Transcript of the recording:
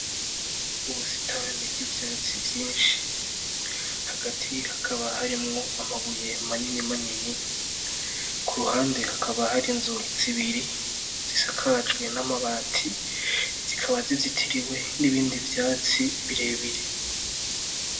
Ubusitani bw'ivyatsi vyinshi, hagati hakaba hariyo amabuye manini manini, kuruhande hakaba hari inzu zibiri zisakajwe n'amabati, zikaba zizitiriwe nibindi vyatsi birebire.